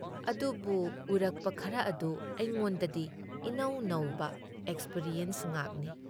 ꯑꯗꯨꯕꯨ ꯎꯔꯛꯄ ꯈꯔ ꯑꯗꯨ ꯑꯩꯉꯣꯟꯗꯗꯤ ꯏꯅꯧ ꯅꯧꯕ ꯑꯦꯛꯁꯄꯔꯤꯌꯦꯟꯁ ꯉꯥꯛꯅꯤ ꯫